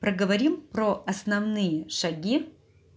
проговорим про основные шаги